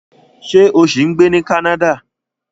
Ṣé o ṣì ń gbé ní Canada?